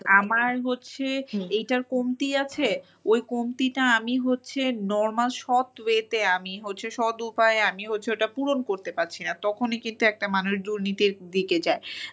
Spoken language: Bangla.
আমার হচ্ছে এইটার কমতি আছে ওই কমতিটা আমি হচ্ছে normal সৎ way -তে সৎ উপায়ে হচ্ছে আমি হচ্ছে ওটা পূরণ করতে পারছি না তখনই কিন্তু একটা মানুষ দুর্নীতির দিকে যায়।